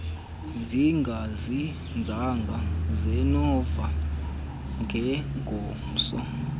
zingazinzanga sinovalo ngengomso